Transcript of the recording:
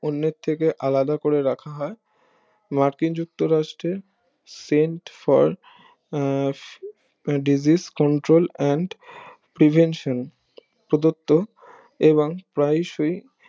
অন্যের থেকে আলাদা করে রাখা হয় মার্কিন যুক্ত রাষ্ট্রের send for আহ Centre for Disease Control and prevention সত্ত্ব এবং প্রায় সেই